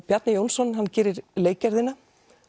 Bjarni Jónsson gerir